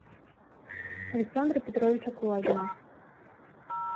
александра петровича кулагина